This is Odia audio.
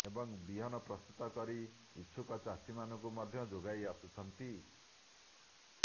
ଏବଂ ବିହନ ପ୍ରସ୍ତୁତ କରି ଇଚ୍ଛୁକ ଚାଷୀମାନଙ୍କୁ ମଧ୍ୟ ଯୋଗାଇ ଆସୁଛନ୍ତି